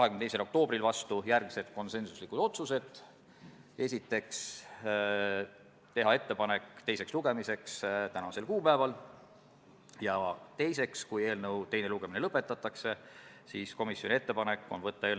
Ja veel, kui palju see siis maksma läheb rongiettevõtjatele näiteks, et invaliidikest aidata, et ta rongi peale pääseks, või kui inimene invaliid ei ole ja rong hilineb, et ta siis saaks selle eine ja karastusjoogi?